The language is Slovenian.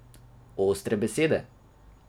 Ostre besede.